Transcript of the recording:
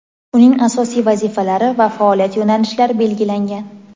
uning asosiy vazifalari va faoliyat yo‘nalishlari belgilangan.